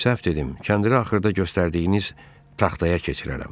Bilirəm, səhv dedim, kəndirə axırda göstərdiyiniz taxtaya keçirərəm.